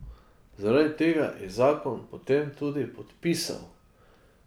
Zaradi tega je zakon potem tudi podpisal.